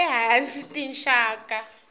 e hansi hi tinxaka